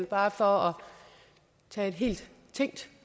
bare for at tage et tænkt